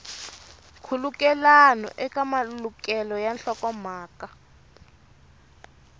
nkhulukelano eka malukelo ya nhlokomhaka